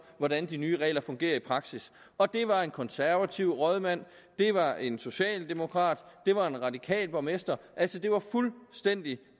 hvordan de nye regler fungerer i praksis og det var en konservativ rådmand det var en socialdemokrat og det var en radikal borgmester det altså fuldstændig